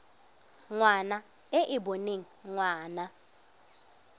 ngwana e e boneng ngwana